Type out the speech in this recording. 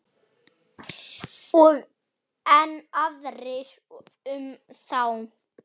Og enn aðrir um þá.